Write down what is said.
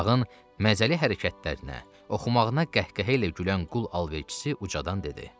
Uşağın məzəli hərəkətlərinə, oxumağına qəhqəhə ilə gülən qul alverçisi ucadan dedi: